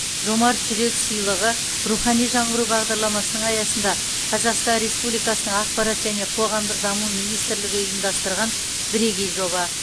жомарт жүрек сыйлығы рухани жаңғыру бағдарламасының аясында қазақстан республикасы ақпарат және қоғамдық даму министрлігі ұйымдастырған бірегей жоба